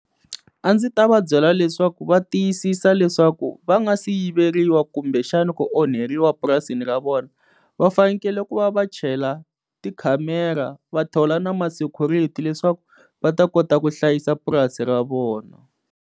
A ndzi ta va byela leswaku va tiyisisa leswaku va nga si yiveriwa kumbe xana ku onheriwa purasini ra vona va fanekele ku va va chela ti camera va thola na ma-security leswaku va ta kota ku hlayisa purasi ra vona.